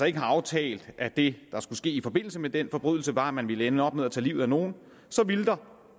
ikke har aftalt at det der skulle ske i forbindelse med den forbrydelse var at man ville ende op med at tage livet af nogen skulle der